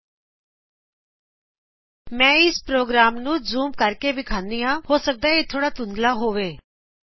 ਆਓ ਹੁਣ ਮੈਂ ਇਸ ਦੇ ਪ੍ਰੋਗਰਾਮ ਨੂੰ ਜੂਮ ਕਰ ਕੇ ਵਿਖਾਵਾਂ ਹੋ ਸਕਦਾ ਇਹ ਥੋੜ੍ਹਾ ਧੁੰਧਲਾ ਹੋਵੇ